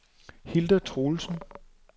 Hilda Truelsen